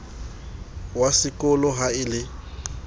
wa sekolo ha a le